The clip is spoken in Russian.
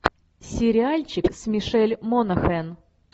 сериальчик с мишель монахэн